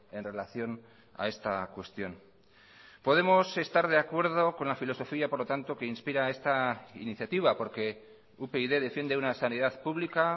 en relación a esta cuestión podemos estar de acuerdo con la filosofía por lo tanto que inspira esta iniciativa porque upyd defiende una sanidad pública